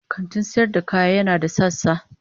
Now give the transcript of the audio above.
kantin sayar da kaya yana da sassa.